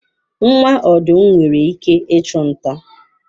Nwa ọdụm nwere ike ịchụ nta.